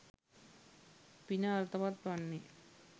පින අර්ථවත් වන්නේ.